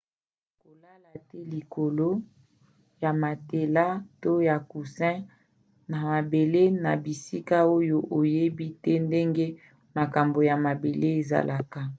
kolala te likolo ya matelas to ya coussin na mabele na bisika oyo oyebi te ndenge makambo ya mabele ezalaka